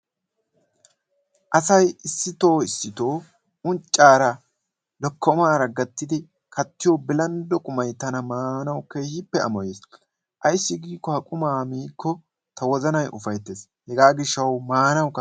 Asayi issitoo issitoo unccaara lokkomaa gattidi kattiyo bilanddo qumayi tana maanawu keehippe amoyes. Ayssi giikko ha qumaa miikko ta wozanayi ufayttes. Hegaa gishshawu maanawukka...